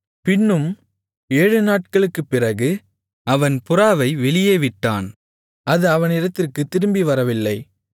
பின்னும் ஏழு நாட்களுக்குப் பிறகு அவன் புறாவை வெளியே விட்டான் அது அவனிடத்திற்குத் திரும்பி வரவில்லை